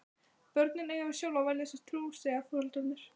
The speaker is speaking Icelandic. Börnin eiga víst sjálf að velja sér trú, segja foreldrarnir.